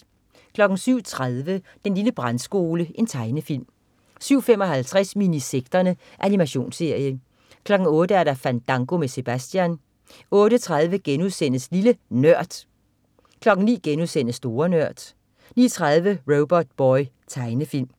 07.30 Den lille Brandskole. Tegnefilm 07.55 Minisekterne. Animationsserie 08.00 Fandango med Sebastian 08.30 Lille NØRD* 09.00 Store Nørd* 09.30 Robotboy. Tegnefilm